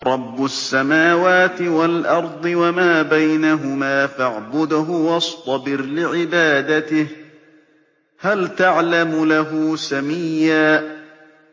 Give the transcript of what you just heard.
رَّبُّ السَّمَاوَاتِ وَالْأَرْضِ وَمَا بَيْنَهُمَا فَاعْبُدْهُ وَاصْطَبِرْ لِعِبَادَتِهِ ۚ هَلْ تَعْلَمُ لَهُ سَمِيًّا